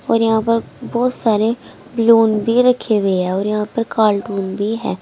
और यहां पर बहुत सारे बलून भी रखे हुए हैं और यहां पर कार्टून भी हैं।